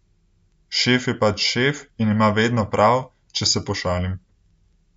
Šef je pač šef in ima vedno prav, če se pošalim.